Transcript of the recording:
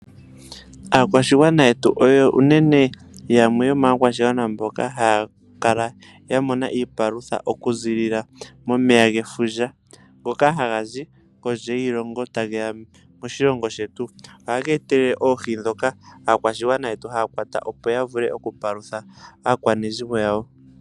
Aakwashigwana yetu oyo unene yamwe yomaakwashigwana mboka haya kala yamona iipalutha okuziilila momeya gefundja ngoka hagazi kondje yiilongo tageya moshilongo shetu . Ohaga etelele oohi ndhoka aakwashigwana yetu haya kwata opo yavule oku palutha aakwanezimo yawo .